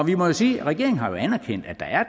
vi må jo sige at regeringen har anerkendt at der er